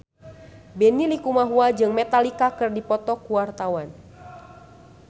Benny Likumahua jeung Metallica keur dipoto ku wartawan